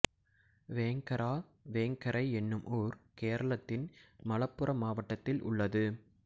வேங்கரா வேங்கரை என்னும் ஊர் கேரளத்தின் மலப்புறம் மாவட்டத்தில் உள்ளது